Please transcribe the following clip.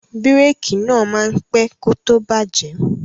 Bírèèkì náà máa pẹ́ kó tó bàjẹ́.